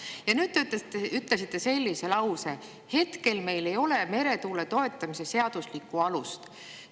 Ja nüüd te ütlesite sellise lause: "Hetkel meil ei ole ühtegi meretuule toetamise seaduslikku alust.